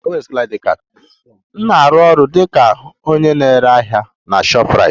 M na-arụ ọrụ dị ka onye na-ere ahịa na shoprite